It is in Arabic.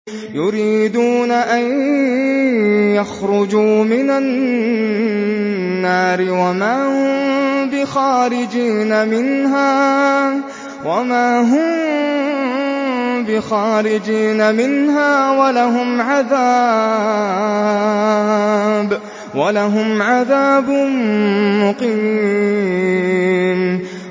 يُرِيدُونَ أَن يَخْرُجُوا مِنَ النَّارِ وَمَا هُم بِخَارِجِينَ مِنْهَا ۖ وَلَهُمْ عَذَابٌ مُّقِيمٌ